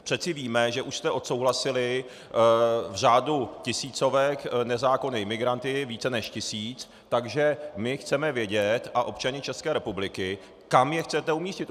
Přece víme, že už jste odsouhlasili v řádu tisícovek nezákonné imigranty, více než tisíc, takže my chceme vědět, a občané České republiky, kam je chcete umístit.